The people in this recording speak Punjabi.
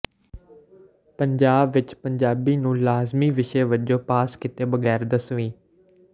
ਪੰਜਾਬ ਵਿਚ ਪੰਜਾਬੀ ਨੂੰ ਲਾਜ਼ਮੀ ਵਿਸ਼ੇ ਵਜੋਂ ਪਾਸ ਕੀਤੇ ਬਗੈਰ ਦਸਵੀਂ